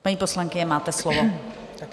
Paní poslankyně, máte slovo.